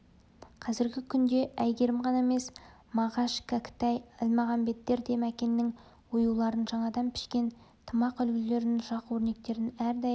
қазіргі күнде әйгерім ғана емес мағаш кәкітай әлмағамбеттер де мәкеннің оюларын жаңадан пішкен тымақ үлгілерін жақ өрнектерін әрдайым